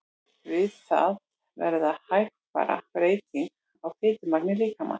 Við það verða hægfara breytingar á fitumagni líkamans.